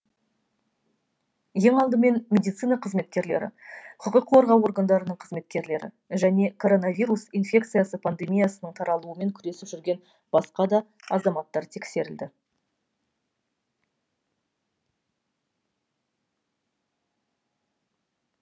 ең алдымен медицина қызметкерлері құқық қорғау органдарының қызметкерлері және коронавирус инфекциясы пандемиясының таралуымен күресіп жүрген басқа да азаматтар тексеріледі